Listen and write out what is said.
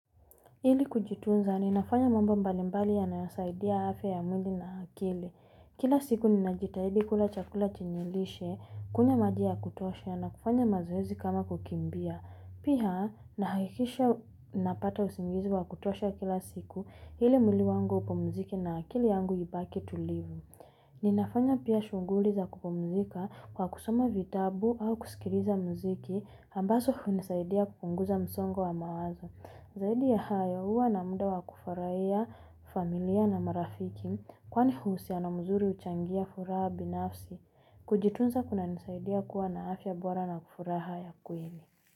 Ili kujitunza, ninafanya mambo mbalimbali ya nasaidia hafe ya mwindi na hakili. Kila siku ninajitahidi kula chakula chenye lishe, kunywa maji ya kutosha na kufanya mazoezi kama kukimbia. Pia, nahakikisha napata usingizi wa kutosha kila siku ili mwili wangu upumzike na akili yangu ibaki tulivu. Ninafanya pia shunguli za kupumzika kwa kusoma vitabu au kusikiliza mziki, ambazo hunisaidia kupunguza msongo wa mawazo. Zaidi ya hayo huwa na muda wa kufurahia, familia na marafiki kwani uhusiano mzuri huchangia furaha binafsi kujitunza kunanisaidia kuwa na afya bora na furaha ya kweli.